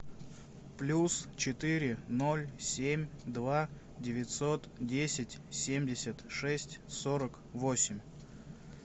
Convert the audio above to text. плюс четыре ноль семь два девятьсот десять семьдесят шесть сорок восемь